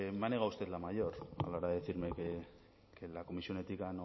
me ha negado usted la mayor a la hora de decirme que la comisión ética